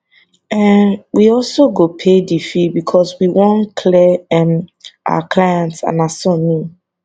um we go also pay di fee becos we wan clear um our clients and her son name